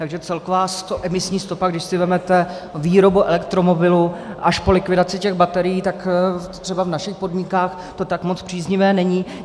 Takže celková emisní stopa, když si vezmete výrobu elektromobilu až po likvidaci těch baterií, tak třeba v našich podmínkách to tak moc příznivé není.